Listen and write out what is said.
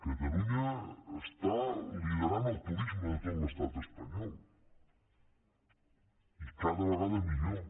catalunya lidera el turisme de tot l’estat espanyol i cada vegada millor